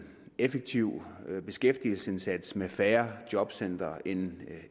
effektiv beskæftigelsesindsats med færre jobcentre end